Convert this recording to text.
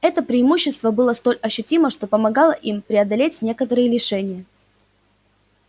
это преимущество было столь ощутимо что помогало им преодолеть некоторые лишения